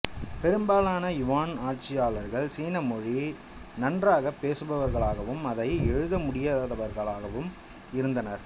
பெரும்பாலான யுவான் ஆட்சியாளர்கள் சீன மொழியை நன்றாகப் பேசுபவர்களாகவும் அதை எழுத முடியாதவர்களாவும் இருந்தனர்